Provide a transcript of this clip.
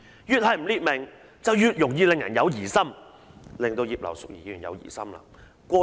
越是不列明，便越容易令人有疑心"，令葉劉淑儀議員有疑心。